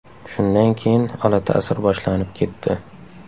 Shundan keyin olatasir boshlanib ketdi.